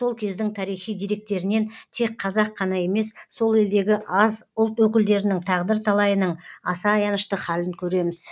сол кездің тарихи деректерінен тек қазақ қана емес сол елдегі аз ұлт өкілдерінің тағдыр талайының аса аянышты халін көреміз